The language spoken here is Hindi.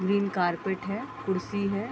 ग्रीन कारपेट है कुर्सी है।